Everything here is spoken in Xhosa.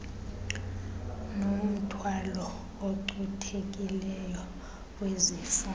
nomthwalo ocuthekileyo wezifo